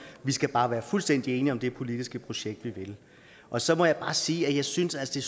vi skal bare være fuldstændig enige om det politiske projekt vi vil og så må jeg bare sige at jeg synes at det